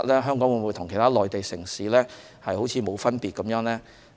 香港會否與其他內地城市沒分別？